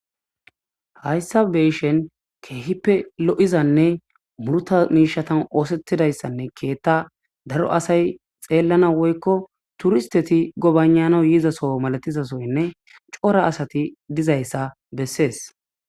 Hayisa be7ishin khipe lo7izayisane gutha mishetan osetidayisane ketha daro asay xelanawu woyiko turisiteti gobayina7a yidasone coora asati dizayisa beses